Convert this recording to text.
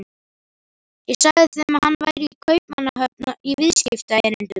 Ég sagði þeim að hann væri í Kaupmannahöfn í viðskiptaerindum.